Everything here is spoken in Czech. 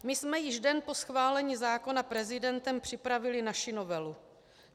My jsme již den po schválení zákona prezidentem připravili naši novelu.